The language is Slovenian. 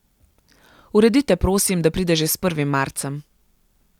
Uredite prosim, da pride že s prvim marcem.